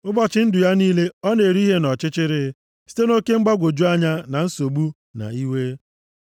Ụbọchị ndụ ya niile, ọ na-eri ihe nʼọchịchịrị, site oke mgbagwoju anya, na nsogbu na iwe.